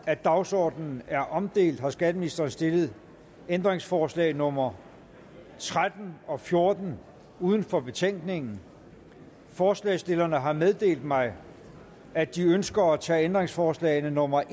at dagsordenen er omdelt har skatteministeren stillet ændringsforslag nummer tretten og fjorten uden for betænkningen forslagsstillerne har meddelt mig at de ønsker at tage ændringsforslag nummer